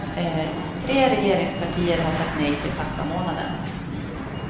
Tre regeringspartier har sagt nej till pappamånaden.